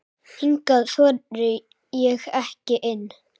Hingað þori ég ekki inn.